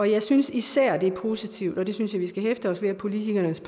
jeg synes især at det er positivt og det synes jeg vi skal hæfte os ved at politikernes